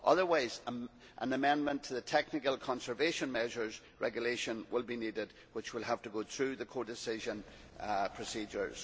Otherwise an amendment to the technical conservation measures regulation will be needed which will have to go through the co decision procedures.